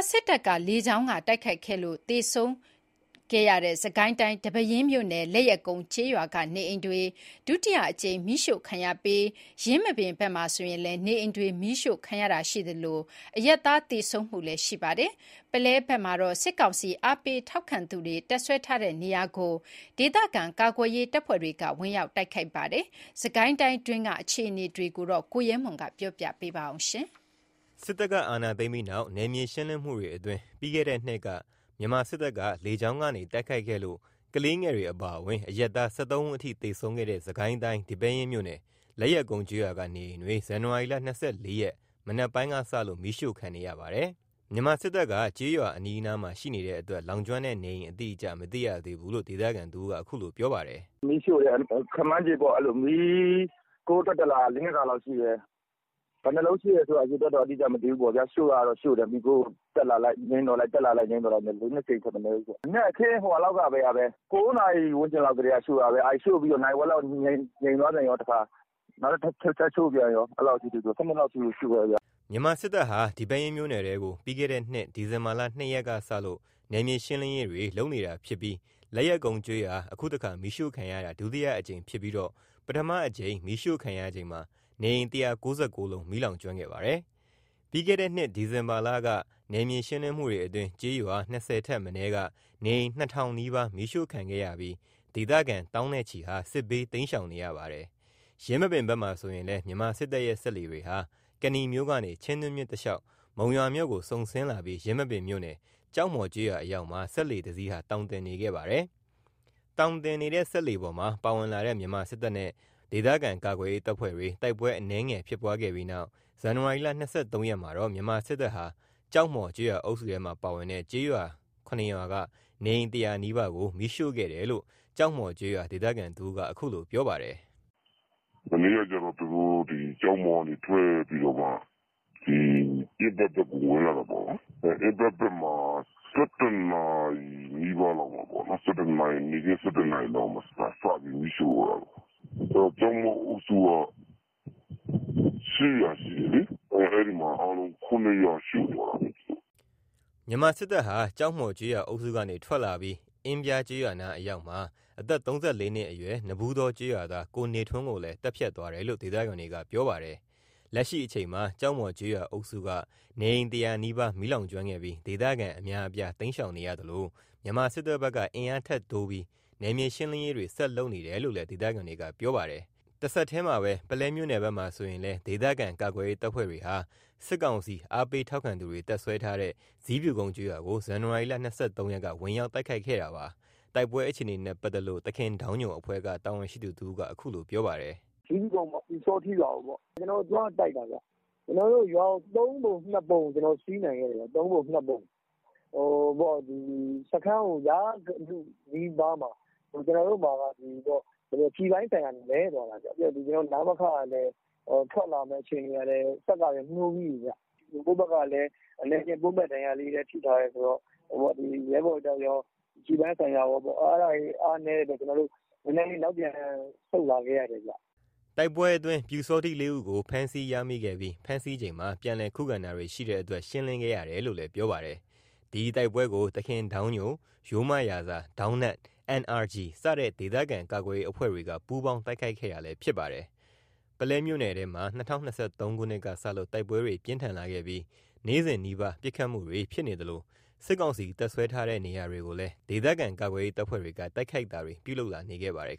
စစ်တပ်က လေကြောင်းကတိုက်ခိုက်ခဲ့လို့ လူတွေသေဆုံးခဲ့တဲ့ စစ်ကိုင်းတိုင်း ဒီပဲယင်းမြို့နယ် လက်ယက်ကုန်းကျေးရွာက နေအိမ်တွေ ဒုတိယအကြိမ် မီးရှို့ ခံရပြီး ယင်းမာပင်ဘက်မှာ နေအိမ်တွေမီးရှို့ခံရတာရှိသလို အရပ်သားတွေလည်းသေဆုံးနေပါတယ်။ ပုလဲဘက်မှာတော့ စစ်ကောင်စီအားပေးထောက်ခံသူတွေ တပ်စွဲထားတဲ့နေရာကို ဒေသခံကာကွယ်ရေးတပ်ဖွဲ့တွေက ဝင်ရောက် တိုက်ခိုက်ခဲ့ပါတယ်။ စစ်ကိုင်းတိုင်းက အခြေအနေကို ကိုရဲမွန်က တင်ပြပေးထားပါတယ်။ စစ်တပ်ကအာဏာသိမ်းပြီးနောက် နယ်မြေရှင်းလင်းမှုတွေအတွင်း ပြီးခဲ့တဲ့နှစ်က မြန်မာစစ်တပ်က လေကြောင်းကနေ တိုက်ခိုက်ခဲ့လို့ ကလေးငယ်တွေအပါအဝင် အရပ်သား ၁၃ ဦးအထိ သေဆုံးခဲ့တဲ့ စစ်ကိုင်းတိုင်း ဒီပဲယင်းမြို့နယ် လက်ယက်ကုန်းကျေးရွာက နေအိမ်တွေ ဇန်နဝါရီ ၂၄ ရက် မနက်ပိုင်းကစလို့ မီးရှို့ခံနေရပါတယ်။ မြန်မာစစ်တပ်က ကျေးရွာအနီးမှာရှိနေတဲ့အတွက် လောင်ကျွမ်းတဲ့နေအိမ် အတိအကျ မသိရသေးဘူးလို့ ဒေသခံတဦးက အခုလို ပြောပါတယ်။ “မီးရှို့တယ်။ ခန့်မှန်းခြေပေါ့ မီးခိုးတက်လာတာ ၄ ခါလောက်ရှိတယ်။ ဘယ်နှစ်လုံးရှို့တယ်ဆိုတာ အရေအတွက် အတိအကျမသိဘူးပေါ့။ ရှို့တာတော့ ရှို့တယ်။ မီးခိုးတက်လာလိုက်၊ ငြိမ်းသွားလိုက်။ တက်လာလိုက်ငြိမ်းသွားလိုက်နဲ့ ၄/၅ ကြိမ်ထက် မနည်းဘူးပေါ့။ မနက်ခင်း ၉ နာရီဝန်းကျင်လောက်ကတည်းက ရှို့တာ၊ ရှို့ပြီးတော့ နာရီဝက်လောက် တခါ နောက်ထပ် ထပ်ရှို့ပြန်ကော။ အဲ့လောက်ကြီး ၁၂ လောက်အထိကို ရှို့တယ်ခင်ဗျ။” မြန်မာစစ်တပ်ဟာ ဒီပဲယင်းမြို့နယ်ထဲကို ပြီးခဲ့တဲ့နှစ် ဒီဇင်ဘာ ၂ ရက်ကစလို့ နယ်မြေရှင်းလင်းနေတာဖြစ်ပြီး လက်ယက်ကုနု်းကျေးရွာမီးရှို့ခံရတာဟာ အခုက ဒုတိယအကြိမ်ဖြစ်ပြီး ပထမအကြိမ်မီးရှို့ခံရချိန်မှာ နေအိမ် ၁၉၉ လုံး မီးလောင်ကျွမ်းခဲ့ပါတယ်။ ပြီးခဲ့တဲ့နှစ် ဒီဇင်ဘာလက နယ်မြေရှင်းလင်းမှုတွေအတွင်း ကျေးရွာ ၂၀ ထက်မနည်းက နေအိမ် ၂,၀၀၀ နီးပါး မီးရှို့ခံခဲ့ရပြီး ဒေသခံ သောင်းနဲ့ချီဟာ စစ်ဘေးတိမ်းရှောင်နေရပါတယ်။ ယင်းမာပင်ဘက်မှာဆိုရင်လည်း မြန်မာစစ်တပ်ရဲ့စက်လှေတွေဟာ ကနီမြို့ကနေ ချင်းတွင်းမြစ်တလျှောက် မုံရွာမြို့ကိုစုန်ဆင်းလာပြီး ယင်းမာပင်မြို့နယ် ကျောက်မှော် ကျေးရွာအရောက်မှာ စက်လှေ ၁ စီး သောင်တင်နေခဲ့ပါတယ်။ သောင်တင်နေတဲ့စက်လှေပေါ်မှာပါလာတဲ့ မြန်မာစစ်တပ်နဲ့ ဒေသခံကာကွယ်ရေး တပ်ဖွဲ့တွေ တိုက်ပွဲအနည်းငယ် ဖြစ်ပွားခဲ့ပြီးနောက် ဇန်နဝါရီလ ၂၃ ရက်မှာတော့ မြန်မာစစ်တပ်ဟာ ကျောက်မှော် ကျေးရွာအုပ်စုထဲက ကျေးရွာ ၇ ရွာက နေအိမ် ၁၀၀ နီးပါးကို မီးရှို့ခဲ့တယ်လို့ ကျောက်မှော်ကျေးရွာ ဒေသခံတဦးက အခုလို ပြောပါတယ်။ “မနေ့ကကျတော့ သူတို့ ကျောက်မှော်ကနေထွက်ပြီးတော့မှ အင်းဘက်(ကျေးရွာ) ဘက်ကိုဝင်လာတာပေါ့နော်။ အင်းဘက်မှာ ၁၁ နာရီလောက်မှာ မီးစရှို့တာပေါ့။ ကျောက်မှော်အုပ်စုက ၈ ရွာရှိတယ်လေ။ အဲ့မှာ အားလုံး ၇ ရွာ ရှို့သွားတာပေါ့။” မြန်မာစစ်တပ်ဟာ ကျောက်မှော်ကျေးရွာအုပ်စုကနေ ထွက်လာပြီး အင်းပြားကျေးရွာနားအရောက်မှာ အသက် ၃၄ နှစ်အရွယ်ရှိ နဘူးတော ကျေးရွာသား ကိုနေထွန်းကိုလည်း သတ်ဖြတ်သွားတယ်လို့ ဒေသခံတွေက ပြောပါတယ်။ လက်ရှိမှာ ကျောက်မှော်ကျေးရွာအုပ်စုက နေအိမ် ၁၀၀ နီးပါး မီးလောင်ကျွမ်းခဲ့ပြီး ဒေသခံအများအပြား တိမ်းရှောင်နေရသလို မြန်မာစစ်တပ်ဘက်က အင်အား ထပ်တိုးပြီး နယ်မြေရှင်းလင်းရေးတွေ ဆက်လုပ်နေတယ်လို့လည်း ဒေသခံတွေက ပြောပါတယ်။ ပုလဲမြို့နယ်ဘက်မှာတော့ ဒေသခံကာကွယ်ရေးတပ်ဖွဲ့တွေဟာ စစ်ကောင်စီအားပေးထောက်ခံသူတွေတပ်စွဲထားတဲ့ ဇီးဖြူကုန်းကျေးရွာကို ဇန်နဝါရီ ၂၃ ရက်က ဝင်ရောက်တိုက်ခိုက်ခဲ့တာပါ။ တိုက်ပွဲအခြေအနေနဲ့ပတ်သက်လို့ သခင်ဒေါင်းညိုအဖွဲ့ တာဝန်ရှိသူတဦးက အခုလိုပြောပါတယ်။ “ဇီးဖြူကုန်း ပျူစောထီးရွာကိုပေါ့။ ကျနော်တို့ရွာကို ၃ ပုံ ၂ ပုံ စီးနိုင်ခဲ့တယ်။ စခန်းကို ရလုနီးပါးမှာ ကျနော်တို့မှာ ကျည်ပိုင်းဆိုင်ရာနည်းသွားတာခင်ဗျ။ ပြီးတော့ နမခ ကလည်း ထွက်လာမယ့်အခြေအနေကလည်း စက်ကလည်းနှိုးပြီးပြီခင်ဗျ။ ကိုယ့်ဘက်ကလည်း အနည်းအကျဉ်း ပွန်းပဲ့ဒဏ်ရာတွေထိထားတယ်ဆိုတော့ ရဲဘော်အတွက်ကော၊ ကျည်ပိုင်းဆိုင်ရာ အားနည်းတဲ့အတွက်ကောကြောင့် ကျနော်တို့ နောက်ပြန်ဆုတ်လာခဲ့ရတယ်။” တိုက်ပွဲအတွင်း ပျူစောထီး ၄ ဦးကို ဖမ်းဆီးရမိခဲ့ပြီး ဖမ်းဆီးချိန်မှာ ပြန်လည်ခုခံတာတွေရှိတဲ့အတွက် ရှင်းလင်းခဲ့ရတယ်လို့လည်း ပြောပါတယ်။ ဒီတိုက်ပွဲကို သခင်ဒေါင်းညို ၊ ရိုးမရာဇာ ၊ ဒေါင်းနက်၊ NRG စတဲ့ ဒေသခံကာကွယ်ရေးအဖွဲ့တွေက ပူးပေါင်းတိုက်ခိုက်ခဲ့တာလည်း ဖြစ်ပါတယ်။ ပုလဲမြို့နယ်ထဲမှာ ၂၀၂၃ ခုနှစ်ကစလို့ တိုက်ပွဲတွေ ပြင်းထန်လာခဲ့ပြီး နေ့စဉ်နီးပါး ပစ်ခတ်မှုတွေ ဖြစ်နေသလို စစ်ကောင်စီ တပ်စွဲထားတဲ့နေရာတွေကိုလည်း ဒေသခံကာကွယ်ရေးတပ်ဖွဲ့တွေက တိုက်ခိုက်တာတွေ ပြုလုပ်လာနေခဲ့ပါတယ်